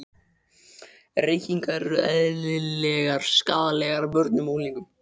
Reykingar eru eðlilegar skaðlegar börnum og unglingum.